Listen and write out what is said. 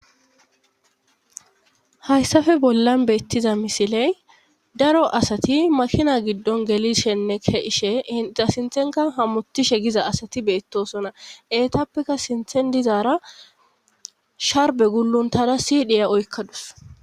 Hayssafe bollan beettiza misiley daro asati makina giddon gelishenne keishe ita sinthenka hammutishe giza asati beettosona etappekka sinthen dizaara sharbe guluntada siidhiya oykkadus